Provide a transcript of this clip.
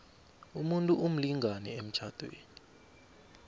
umuntu umlingani emtjhadweni